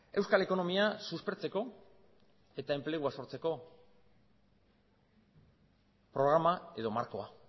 euskal ekonomia suspertzeko eta enplegua sortzeko programa edo markoa